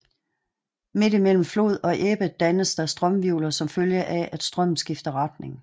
Midt i mellem flod og ebbe dannes der strømhvirvler som følge af at strømmen skifter retning